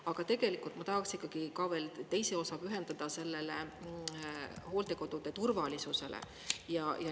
Aga tegelikult ma tahaks ikkagi ka veel teise osa pühendada sellele hooldekodude turvalisusele.